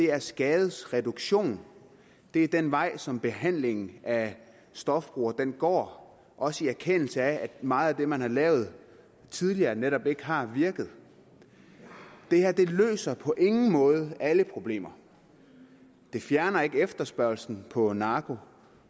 er skadesreduktion det er den vej som behandlingen af stofbrugere går også i erkendelse af at meget af det man har lavet tidligere netop ikke har virket det her løser på ingen måde alle problemer det fjerner ikke efterspørgselen på narko